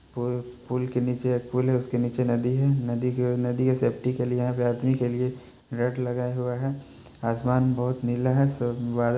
pool पूल के नीचे पूल हैं उसके नीचे नदी हैं नदी के नदी के सेफ्टी के लिए अभी आदमी के लिए नेट लगा हुआ हैं आसमान बहुत नीला हैं सब व--